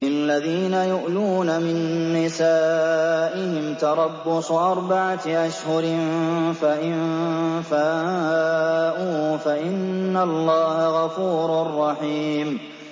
لِّلَّذِينَ يُؤْلُونَ مِن نِّسَائِهِمْ تَرَبُّصُ أَرْبَعَةِ أَشْهُرٍ ۖ فَإِن فَاءُوا فَإِنَّ اللَّهَ غَفُورٌ رَّحِيمٌ